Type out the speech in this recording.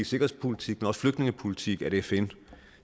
sikkerhedspolitik men også flygtningepolitik at fn